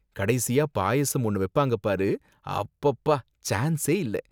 கடைசியா பாயாசம் ஒன்னு வைப்பாங்க பாரு, அப்பப்பா சான்ஸே இல்ல.